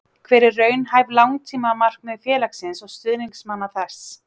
Hver eru raunhæf langtímamarkmið félagsins og stuðningsmanna þess?